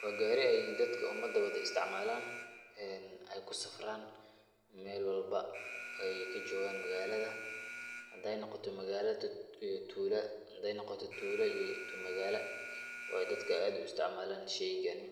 Waa gaari ay dadka umada wada istacmaalan ay kusafraan meel walba ay ka joogaan magaalada. Haddii ay noqoto magaalad to tuulo, haddii ay noqoto tuulo ii to magaala, waayo dadka aad u istacmaalan sheygani.